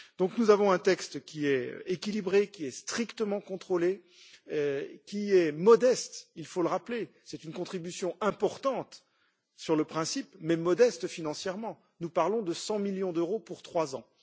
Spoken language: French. Donc nous avons un texte qui est équilibré, qui est strictement contrôlé, qui est modeste il faut le rappeler c'est une contribution importante sur le principe, mais modeste financièrement, nous parlons de 100 millions d'euros pour trois ans.